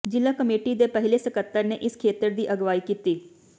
ਜ਼ਿਲ੍ਹਾ ਕਮੇਟੀ ਦੇ ਪਹਿਲੇ ਸਕੱਤਰ ਨੇ ਇਸ ਖੇਤਰ ਦੀ ਅਗਵਾਈ ਕੀਤੀ